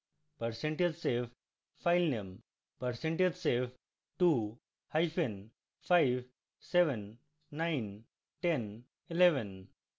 percentage save filename